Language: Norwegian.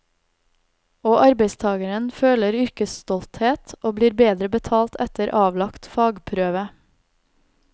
Og arbeidstageren føler yrkesstolthet og blir bedre betalt etter avlagt fagprøve.